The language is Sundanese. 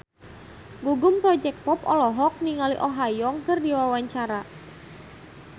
Gugum Project Pop olohok ningali Oh Ha Young keur diwawancara